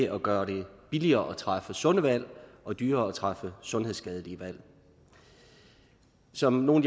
at gøre det billigere at træffe sunde valg og dyrere at træffe sundhedsskadelige valg som nogle